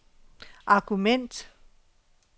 argument